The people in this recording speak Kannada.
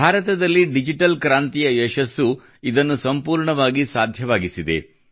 ಭಾರತದಲ್ಲಿ ಡಿಜಿಟಲ್ ಕ್ರಾಂತಿಯ ಯಶಸ್ಸು ಇದನ್ನು ಸಂಪೂರ್ಣವಾಗಿ ಸಾಧ್ಯವಾಗಿಸಿದೆ